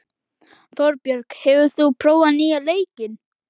Þorbjörg, hefur þú prófað nýja leikinn?